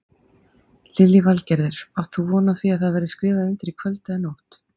Lillý Valgerður: Átt þú von á því að þið skrifið undir í kvöld eða nótt?